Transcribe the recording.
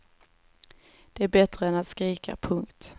Det är är bättre än att skrika. punkt